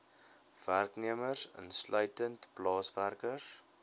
werknemers insluitend plaaswerkers